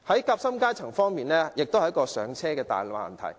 夾心階層同樣面對"上車"的大難題。